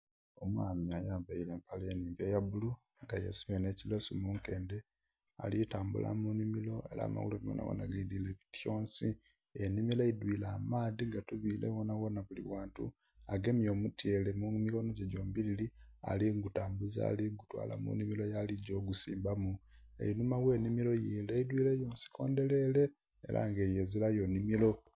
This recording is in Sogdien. Omwami ayambaire empale enhimpi eya bulu nga yesibye nhe ki lilesu munkedhe ali tambula mu nhimiro era amagulu ge gonagona geidhwire bityonsi. Enhimiro eidhwire amaadhi gatunire ghona ghona buli ghantu, agemye omutyere mu mikono gye dhombiriri ali butambula ali gutwala mu nhimiro yaligya ogusimbamu, einhuma ghe nsiko enho eidhwire yo nsiko ndherere ezilayo nn.himiro